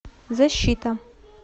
защита